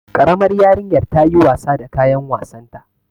Karamar yarinyar ta yi wasa da kayan wasanta.